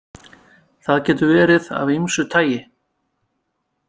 Það getur verið af ýmsu tagi.